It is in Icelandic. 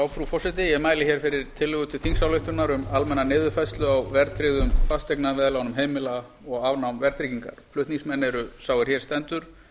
frú forseti ég mæli hér fyrir tillögu til þingsályktunar um almenna niðurfærslu á verðtryggðum fasteignaveðlánum heimila og afnám verðtryggingar flutningsmenn eru sá er hér stendur